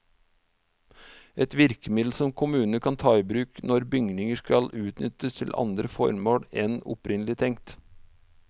Et virkemiddel som kommunene kan ta i bruk når bygninger skal utnyttes til andre formål enn opprinnelig tenkt.